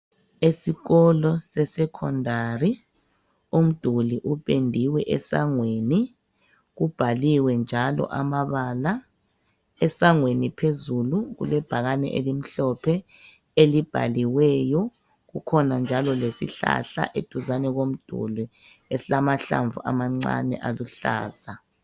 Esikolo sesecondary umduli upendiwe esangweni kubhaliwe njalo amabala esangweni phezulu kulebhakani elimhlophe elibhaliweyo kukhona njalo lesihlahla eduzane komduli esilamahlamvu amancane aluhlaza